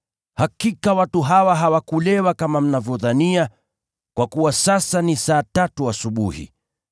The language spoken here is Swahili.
Hakika watu hawa hawakulewa kama mnavyodhania, kwa kuwa sasa ni saa tatu asubuhi!